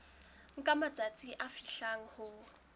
nka matsatsi a fihlang ho